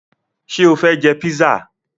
Ṣé o fẹ jẹ písà?